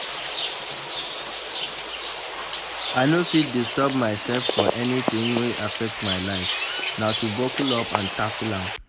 I no fit disturb myself for anything wey affect my life, na to buckle up and tackle am.